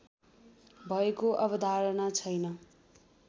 भएको अवधारणा छैन